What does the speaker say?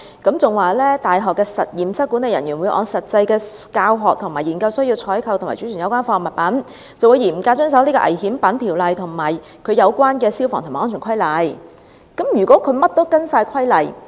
大學的實驗室管理人員會按實際的教學和研究需要採購及貯存有關化學物品，並會嚴格遵守《條例》及其他有關的消防及安全規例。